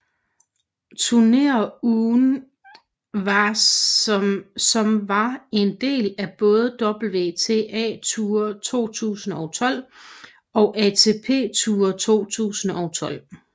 Turnerungen som var en del af både WTA Tour 2012 og ATP Tour 2012